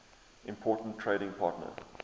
important trading partner